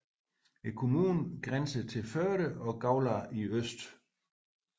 Kommunen grænser til Førde og Gaular i øst